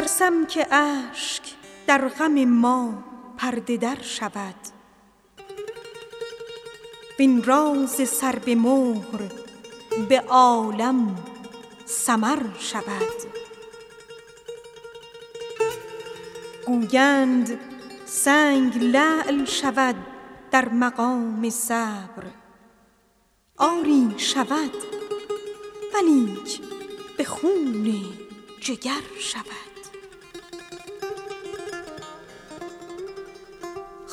ترسم که اشک در غم ما پرده در شود وین راز سر به مهر به عالم سمر شود گویند سنگ لعل شود در مقام صبر آری شود ولیک به خون جگر شود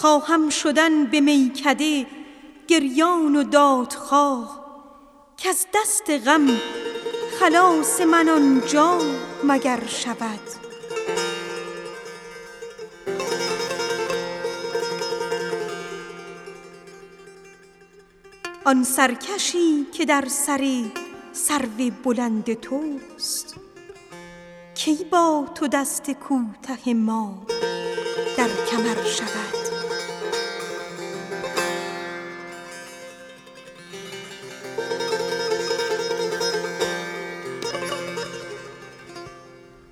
خواهم شدن به میکده گریان و دادخواه کز دست غم خلاص من آنجا مگر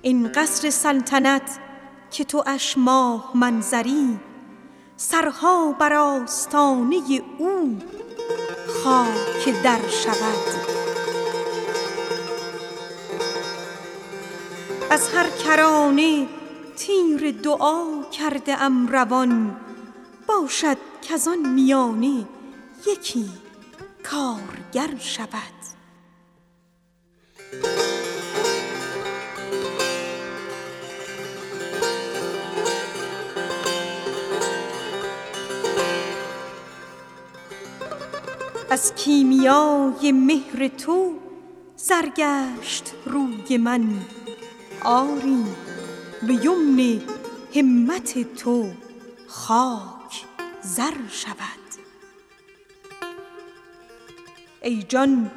شود از هر کرانه تیر دعا کرده ام روان باشد کز آن میانه یکی کارگر شود ای جان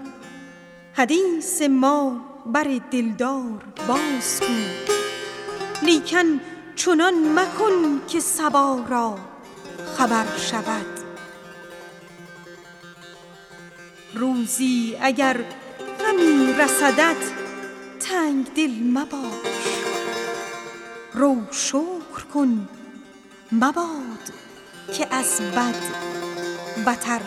حدیث ما بر دلدار بازگو لیکن چنان مگو که صبا را خبر شود از کیمیای مهر تو زر گشت روی من آری به یمن لطف شما خاک زر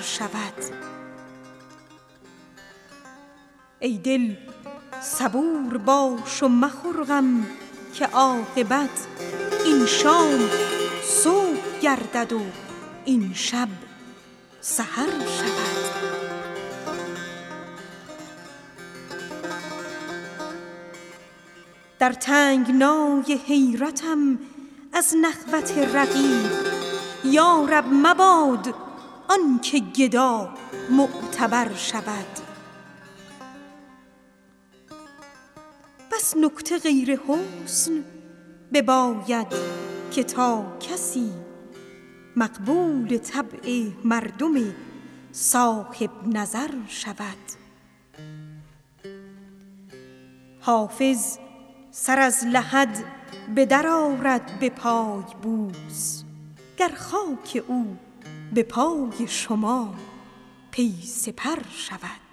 شود در تنگنای حیرتم از نخوت رقیب یا رب مباد آن که گدا معتبر شود بس نکته غیر حسن بباید که تا کسی مقبول طبع مردم صاحب نظر شود این سرکشی که کنگره کاخ وصل راست سرها بر آستانه او خاک در شود حافظ چو نافه سر زلفش به دست توست دم درکش ار نه باد صبا را خبر شود